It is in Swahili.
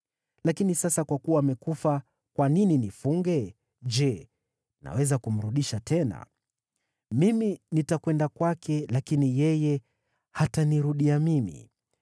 Lakini sasa kwa kuwa amekufa, kwa nini nifunge? Je, naweza kumrudisha tena? Mimi nitakwenda kwake, lakini yeye hatanirudia mimi.”